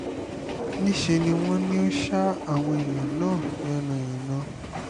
níṣẹ́ ni wọ́n ní ó ṣa àwọn èèyàn náà yánnayànna